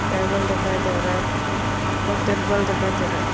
Table दिखाई दे रहा है और त्रिपाल दिखाई दे रहा है।